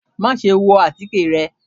Maṣe wọ atike rẹ!